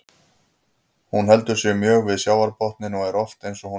Hún heldur sig mjög við sjávarbotninn og er oft eins og hún liggi á honum.